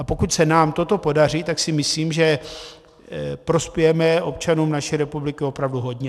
A pokud se nám toto podaří, tak si myslím, že prospějeme občanům naší republiky opravdu hodně.